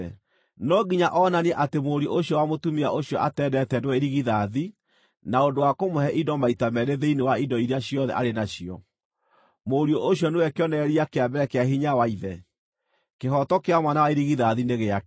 No nginya onanie atĩ mũriũ ũcio wa mũtumia ũcio atendete nĩwe irigithathi na ũndũ wa kũmũhe indo maita meerĩ thĩinĩ wa indo iria ciothe arĩ nacio. Mũriũ ũcio nĩwe kĩonereria kĩa mbere kĩa hinya wa ithe. Kĩhooto kĩa mwana wa irigithathi nĩ gĩake.